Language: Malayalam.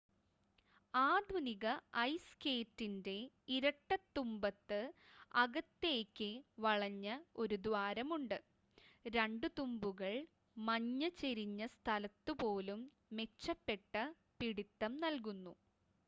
ആധുനിക ഐസ് സ്കേറ്റിൻ്റെ ഇരട്ട തുമ്പത്ത് അകത്തേയ്ക്ക് വളഞ്ഞ ഒരു ദ്വാരമുണ്ട് 2 തുമ്പുകൾ മഞ്ഞ് ചെരിഞ്ഞ സ്ഥലത്തുപോലും മെച്ചപ്പെട്ട പിടിത്തം നൽകുന്നു